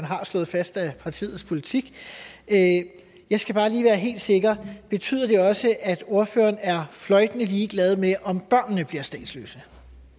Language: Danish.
har slået fast er partiets politik jeg skal bare lige være helt sikker betyder det også at ordføreren er fløjtende ligeglad med om børnene bliver statsløse